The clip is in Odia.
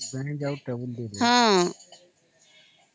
ବେଞ୍ଚ ଆଉ ଟେବୁଲ ଦେଲେ